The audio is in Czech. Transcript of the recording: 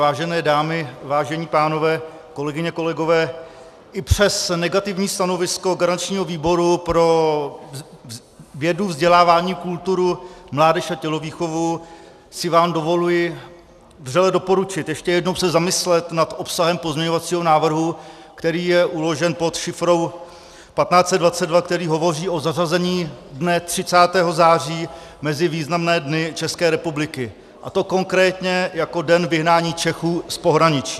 Vážené dámy, vážení pánové, kolegyně, kolegové, i přes negativní stanovisko garančního výboru pro vědu, vzdělávání, kulturu, mládež a tělovýchovu si vám dovoluji vřele doporučit ještě jednou se zamyslet nad obsahem pozměňovacího návrhu, který je uložen pod šifrou 1522, který hovoří o zařazení dne 30. září mezi významné dny České republiky, a to konkrétně jako Den vyhnání Čechů z pohraničí.